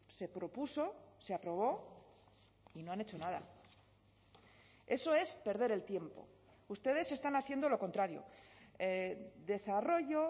se propuso se aprobó y no han hecho nada eso es perder el tiempo ustedes están haciendo lo contrario desarrollo